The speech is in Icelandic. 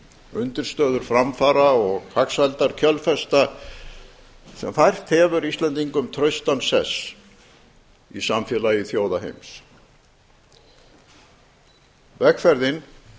undirstöður framfara og hagsældar kjölfesta sem fært hefur íslendingum traustan sess í samfélagi þjóða heims vegferðin